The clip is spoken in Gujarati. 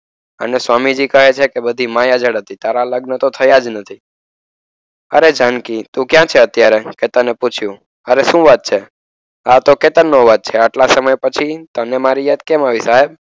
અને સ્વામીજી કહે છે બધી માયાજાળ હતી. તારા લગ્ન તો થયા જ નથી. અરે જાનકી તું ક્યાં છે અત્યારે? તેને પૂછ્યું. તારે શું વાત છે આ તો કેતન નો અવાજ છે? આટલા સમય પછી તને મારી યાદ કેમ આવી સાહેબ?